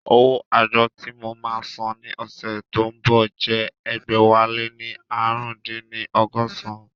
Owó àjọ tí mo máa san ní ọ̀sẹ̀ tí ó ń bọ̀ jẹ́ ẹgbẹ̀wáléní ààrùndínní ọgọ́san